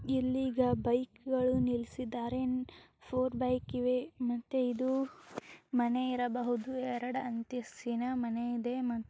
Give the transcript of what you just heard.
ಇಲ್ಲಿ ಈಗ ಬೈಕ್ ಗಳು ನಿಲ್ಸಿದಾರೆ ಫೋರ್ ಬೈಕ್ ಇವೆ ಮತ್ತೆ ಇದು ಮನೆ ಇರಬಹುದು ಎರಡು ಅಂತಸ್ತಿನ ಮನೆ ಇದೆ ಮ--